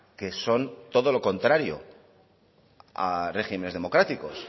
que son todo lo contrario a regímenes democráticos